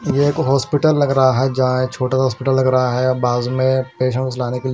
यह एक होस्पिटल लग रहां है जहाँ यह छोटा सा होस्पिटल लग रहां है बाजू में पेसंस लाने के लिए--